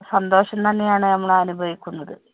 സന്തോഷം തന്നെ ആണ് നമ്മൾ അനുഭവിക്കുന്നത്.